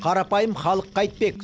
қарапайым халық қайтпек